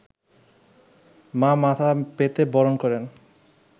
মা মাথা পেতে বরণ করেন